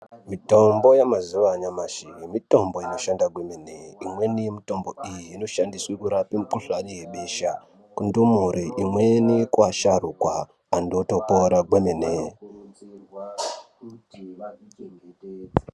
Mitombo yemazuva anyamashi mitombo inobashanda kwemene. Imweni mitombo iyi inoshandiswa kurapa mukuhlani yebesha kundumure, imweni kuasharukwa anthu otopora kwemene.